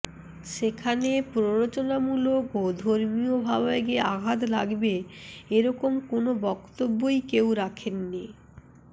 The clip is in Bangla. সেখানে প্ররোচনামূলক ও ধর্মীয় ভাবাবেগে আঘাত লাগবে এরকম কোন বক্তব্যই কেউ রাখেননি